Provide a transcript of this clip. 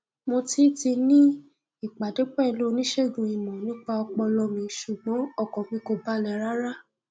mo ti ti ní ìpàdé pẹlú oníṣègùn ìmọ nípa ọpọlọ mi ṣùgbọn ọkàn mi kò balẹ rárá